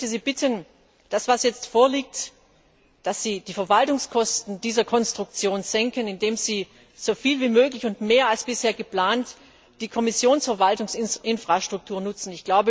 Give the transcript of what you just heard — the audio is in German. Ich möchte Sie bitten, dass Sie die Verwaltungskosten dieser Konstruktion senken, indem Sie soviel wie möglich und mehr als bisher geplant die Kommissionsverwaltungsinfrastruktur nutzen.